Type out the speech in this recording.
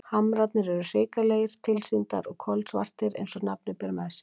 Hamrarnir eru hrikalegir tilsýndar og kolsvartir eins og nafnið ber með sér.